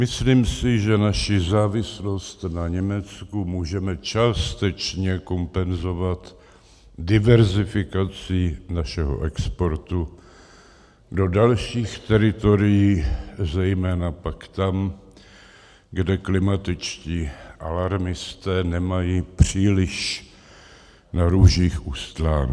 Myslím si, že naši závislost na Německu můžeme částečně kompenzovat diverzifikací našeho exportu do dalších teritorií, zejména pak tam, kde klimatičtí alarmisté nemají příliš na růžích ustláno.